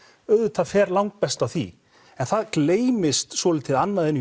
auðvitað fer langbest á því en það gleymist svolítið annað í